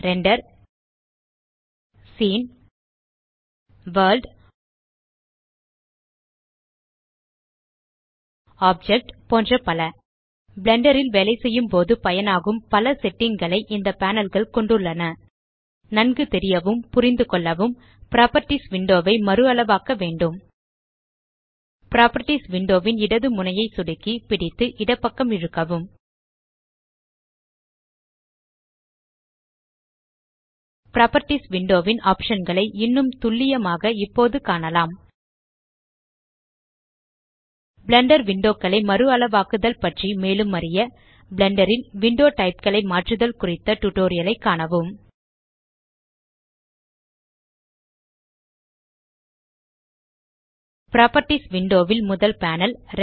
render scene world object போன்ற பல Blender ல் வேலைசெய்யும்போது பயனாகும் பல செட்டிங் களை இந்த பேனல் கள் கொண்டுள்ளன நன்கு தெரியவும் புரிந்துகொள்ளவும் புராப்பர்ட்டீஸ் விண்டோ ஐ மறுஅளவாக்க வேண்டும் புராப்பர்ட்டீஸ் விண்டோ ன் இடது முனையை சொடுக்கி பிடித்து இடப்பக்கம் இழுக்கவும் புராப்பர்ட்டீஸ் விண்டோ ன் ஆப்ஷன் களை இன்னும் துல்லியமாக இப்போது காணலாம் பிளெண்டர் விண்டோ களை மறுஅளவாக்குதல் பற்றி மேலும் அறிய பிளெண்டர் ல் விண்டோ டைப் களை மாற்றுதல் குறித்த டியூட்டோரியல் ஐ காணவும் புராப்பர்ட்டீஸ் விண்டோ ல் முதல் பேனல்